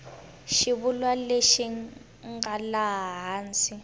xivulwa lexi nga laha hansi